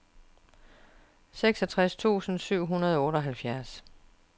seksogtres tusind syv hundrede og otteoghalvfjerds